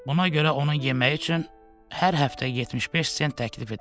Buna görə onun yeməyi üçün hər həftə 75 sent təklif edirəm.